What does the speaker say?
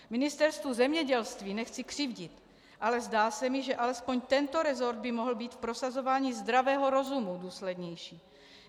Ministerstvu zemědělství nechci křivdit, ale zdá se mi, že alespoň tento resort by mohl být v prosazování zdravého rozumu důslednější.